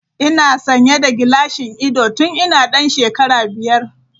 Ina sanye da gilashin ido tun ina dan shekara biyar.